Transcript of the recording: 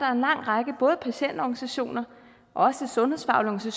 er en lang række både patientorganisationer og også sundhedsfaglige